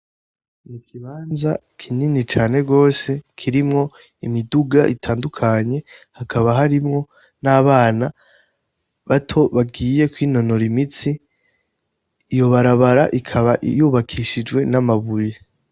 Ni ikibanza kinini cane rwose kirimwo imiduga itandukanye hakaba harimwo n'abana bato bagiye kwinonora imitsi. Iyo barabara ikaba yubakishijwe n'amabuye.